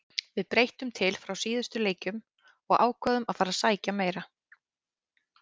Við breyttum til frá síðustu leikjum og ákváðum að fara að sækja meira.